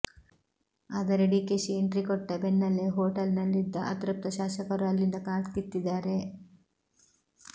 ಆದರೆ ಡಿಕೆಶಿ ಎಂಟ್ರಿ ಕೊಟ್ಟ ಬೆನ್ನಲ್ಲೇ ಹೊಟೇಲ್ನಲ್ಲಿದ್ದ ಅತೃಪ್ತ ಶಾಸಕರು ಅಲ್ಲಿಂದ ಕಾಲ್ಕಿತ್ತಿದ್ದಾರೆ